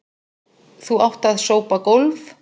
Þú átt að sópa gólf.